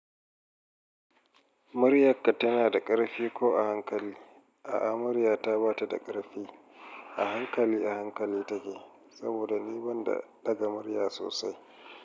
Mariyaƙa tana da ƙarfi ko a hankali? A'a, mariya ta ba ta da ƙarfi. A hankali a hankali take. Saboda ni banda daga mariya sosai.